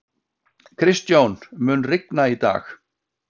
Kristjón, mun rigna í dag?